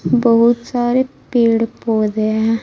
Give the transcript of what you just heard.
बहुत सारे पेड़ पौधे हैं।